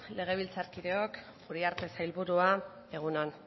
legebiltzarkideok uriarte sailburua egun on